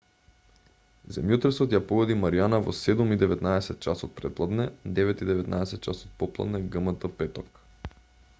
земјотресот ја погоди маријана во 07:19 ч. претпладне 09:19 ч. попладне гмт петок